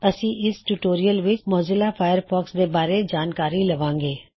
ਅਸੀ ਇਸ ਟਿਊਟੋਰਿਯਲ ਵਿੱਚ ਮੌਜ਼ੀਲਾ ਫਾਇਰਫੌਕਸ ਦੇ ਬਾਰੇ ਜਾਨਕਾਰੀ ਲਵਾਂ ਗੇ